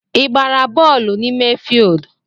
I gbara bọọlụ n’ime fild?